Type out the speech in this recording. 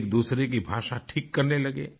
एकदूसरे की भाषा ठीक करने लगे